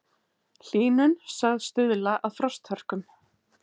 Hlýnun sögð stuðla að frosthörkum